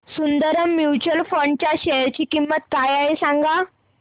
Sundaram mutual fund च्या share ची किंमत काय आहे सांगा